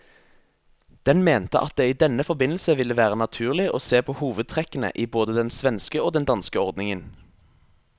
Den mente at det i denne forbindelse ville være naturlig å se på hovedtrekkene i både den svenske og den danske ordningen.